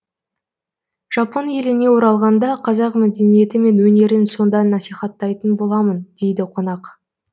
жапон еліне оралғанда қазақ мәдениеті мен өнерін сонда насихаттайтын боламын дейді қонақ